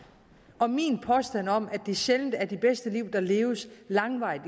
og min påstand om at det sjældent er det bedste liv der leves langvarigt